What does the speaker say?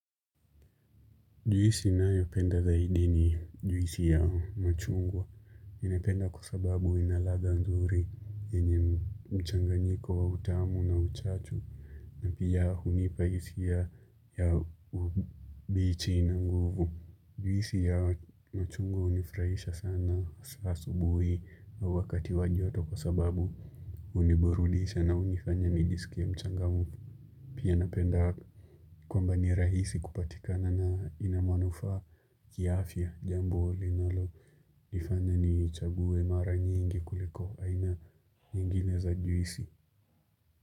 Juisi ninayopenda zaidi ni juisi ya machungwa. Naipenda kwasababu inaladha nzuri yenye mchanganyiko wa utamu na uchachu. Na pia hunipa hisia ya ubichi na nguvu Juisi ya machungwa inanifurahisha sana hasa asubuhi na wakati wa joto kwa sababu huniburudisha na hunifanya nijisikie mchangamfu. Pia napenda kwamba ni rahisi kupatikana na inamanufaa kiafya jambo linalo nifanya niichague mara nyingi kuliko aina nyingine za juisi.